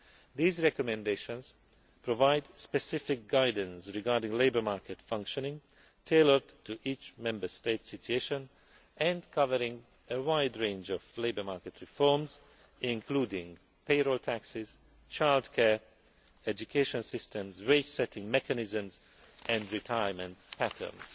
break. These recommendations provide specific guidance on labour market functioning, tailored to each Member State's situation and covering a wide range of labour market reforms including payroll taxes, childcare, education systems, wage setting mechanisms and retirement patterns.